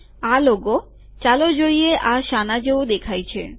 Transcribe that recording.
આ લોગો ચાલો જોઈએ આ શાના જેવું દેખાય છે